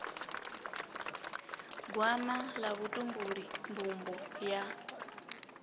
gwama ḽa vhutumbuli mbumbo ya